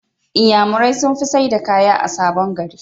inyamurai sunfi saida kaya a sabon gari